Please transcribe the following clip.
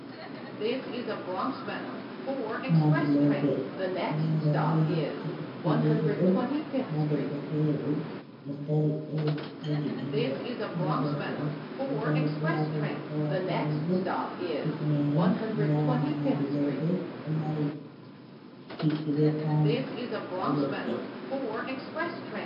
Maadi lope, jei mborro'en, ɗo hippi be huɗo. Nda debbo fere ɗo dari ɗo jogi ɓingel, nda gorko ɗo dari ɗo wati riga wati hule, hifnere, nda maadi lope ɗo mari... hippi be kwano, nda leɗɗe.